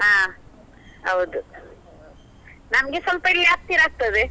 ಹಾ ಹೌದು, ನಮ್ಗೆ ಸ್ವಲ್ಪ ಹತ್ತಿರ ಆಗತ್ತದೆ